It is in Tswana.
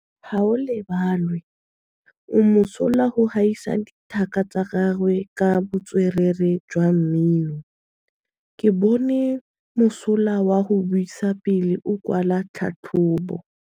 Gaolebalwe o mosola go gaisa dithaka tsa gagwe ka botswerere jwa mmino. Ke bone mosola wa go buisa pele o kwala tlhatlhobô.